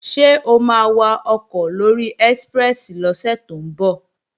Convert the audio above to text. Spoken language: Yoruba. Ṣé o máa wakọ̀ lóri ẹ́síprẹ́sì lọ́sẹ̀ tó ń bọ̀?